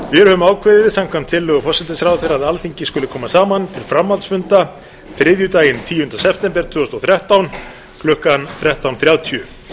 höfum ákveðið samkvæmt tillögu forsætisráðherra að alþingi skuli koma saman til framhaldsfunda þriðjudaginn tíunda september tvö þúsund og þrettán klukkan þrettán þrjátíu